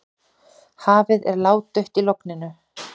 Hafið er ládautt í logninu.